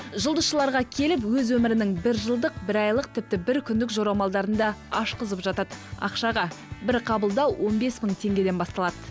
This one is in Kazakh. жұлдызшыларға келіп өз өмірінің бір жылдық бір айлық тіпті бір күндік жорамалдарын да ашқызып жатады ақшаға бір қабылдау он бес мың теңгеден басталады